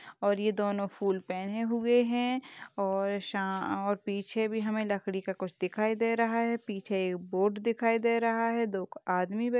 और ये दोनों फूल पहने हुए हैं और शा और पीछे भी हमें लकड़ी का कुछ दिखाई दे रहा है। पीछे एक बोर्ड दिखाई दे रहा है। दो आदमी बै --